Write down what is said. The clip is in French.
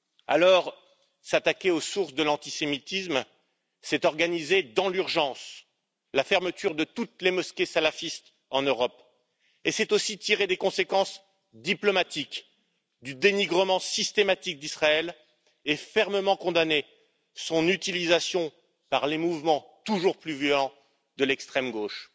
Alors, s'attaquer aux sources de l'antisémitisme, c'est organiser dans l'urgence la fermeture de toutes les mosquées salafistes en Europe, et c'est aussi tirer des conséquences diplomatiques du dénigrement systématique d'Israël et fermement condamner son utilisation par les mouvements toujours plus violents de l'extrême gauche.